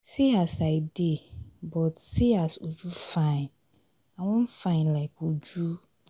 see as i dey but seeas uju fine. i wan fine like uju.